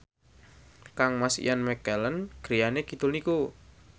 kangmas Ian McKellen griyane kidul niku